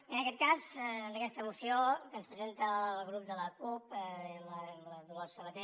bé en aquest cas en aquesta moció que ens presenta el grup de la cup la dolors sabater